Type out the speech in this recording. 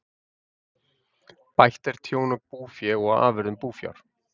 Bætt er tjón á búfé og afurðum búfjár.